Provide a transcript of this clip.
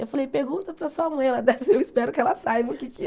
Eu falei, pergunta para a sua mãe, ela deve eu espero que ela saiba o que é que é.